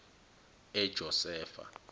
ejosefa